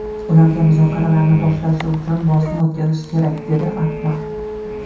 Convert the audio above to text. Ularga muzokaralarni boshlashi uchun bosim o‘tkazish kerak”, dedi Atmar.